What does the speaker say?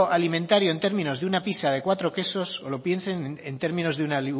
alimentario en términos de una pizza de cuatro quesos o lo piensen en términos de una